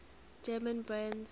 german brands